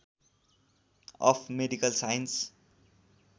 of medical science